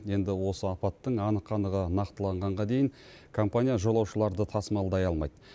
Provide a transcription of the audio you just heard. енді осы апаттың анық қанығы нақтыланғанға дейін компания жолаушыларды тасымалдай алмайды